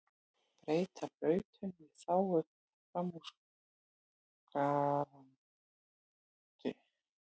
Breyta brautum í þágu framúraksturs